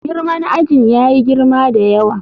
Girman ajin yayi girma da yawa.